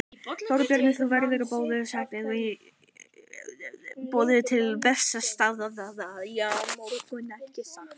Þorbjörn: Þú hefur verið boðuð til Bessastaða á morgun, ekki satt?